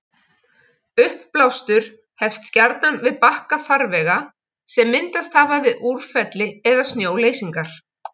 Uppblástur hefst gjarnan við bakka farvega sem myndast hafa við úrfelli eða snjóleysingar.